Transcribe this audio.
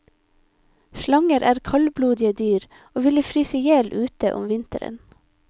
Slanger er kaldblodige dyr og ville fryse ihjel ute om vinteren.